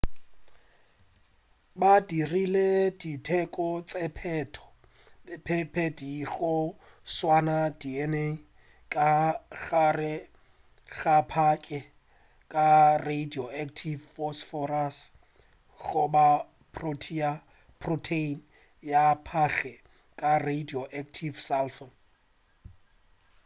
ba dirile di teko tše pedi go swaya dna ka gare ga phage ka radioactive phosphorus goba protein ya phage ka radioactive sulfur